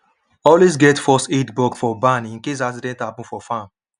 always get first aid box for barn in case accident happen for farm